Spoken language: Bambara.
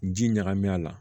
Ji ɲagaminen a la